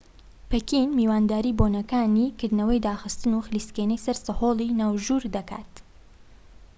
پەکین میوانداری بۆنەکانی کردنەوە و داخستن و خلیسکێنەی سەرسەهۆڵی ناوژوور دەکات